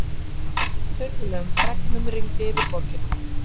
Furðulegum fregnum rigndi yfir borgina.